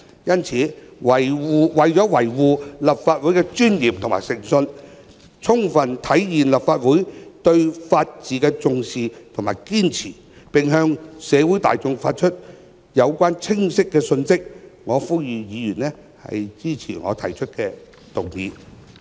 因此，為維護立法會的尊嚴和誠信，充分體現立法會對法治的重視及堅持，並向社會大眾發出有關的清晰信息，我呼籲議員支持我提出的議案。